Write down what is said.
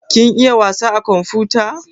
Kin iya wasa a komfuta?